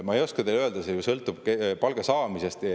Ma ei oska teile öelda, see ju sõltub palga saamisest.